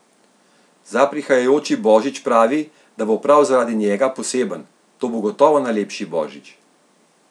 Za prihajajoči božič pravi, da bo prav zaradi njega poseben: ''To bo gotovo najlepši božič.